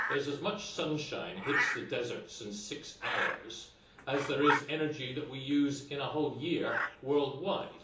There is as much sunshine hitting the desert in six hours as there is energy that we use in a whole year worldwide.